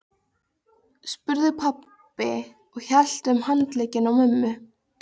spurði pabbi og hélt um handlegginn á mömmu.